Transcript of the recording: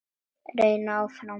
Reynir áfram.